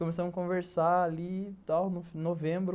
Começamos a conversar ali, tal, em novembro.